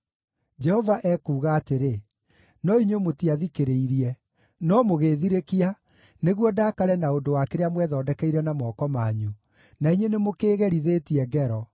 Jehova ekuuga atĩrĩ, “No inyuĩ mũtiathikĩrĩirie, no mũgĩĩthirĩkia nĩguo ndaakare na ũndũ wa kĩrĩa mwethondekeire na moko manyu, na inyuĩ nĩmũkĩĩgerithĩtie ngero.”